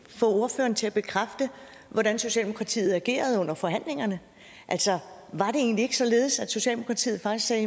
få ordføreren til at bekræfte hvordan socialdemokratiet agerede under forhandlingerne altså var det egentlig ikke således at socialdemokratiet faktisk sagde